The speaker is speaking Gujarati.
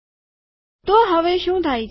તો હવે શું થાય છે